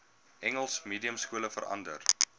engels mediumskole verander